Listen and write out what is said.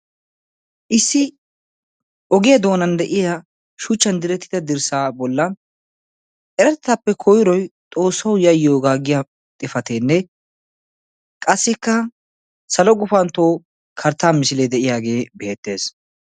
issi ogiya doonan de'iya shuchaappe oosetida dirsaa bollan eratettaappe koyroy xoosawu yayiyooga yaagiya xifatee dees. qassikka salo gufanto kartaa misilee beetees.